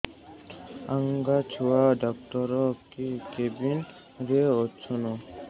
ଆଜ୍ଞା ଛୁଆ ଡାକ୍ତର କେ କେବିନ୍ ରେ ଅଛନ୍